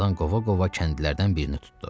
Tarzan qova-qova kəndlərdən birini tutdu.